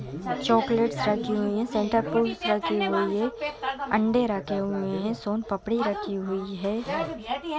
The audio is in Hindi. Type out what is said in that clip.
चॉकलेट्स रखी हुईं हैं। सेंटाक्लोज़ रखें हुए हैं। अंडे रहें हुए हैं। सोनपापड़ी रखी हुई हैं।